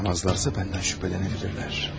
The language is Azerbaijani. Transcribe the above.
Baxmazlarsa məndən şübhələnə bilərlər.